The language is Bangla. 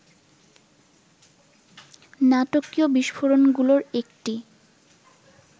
নাটকীয় বিস্ফোরণগুলোর একটি